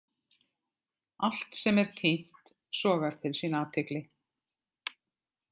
Allt sem er týnt sogar til sín athygli.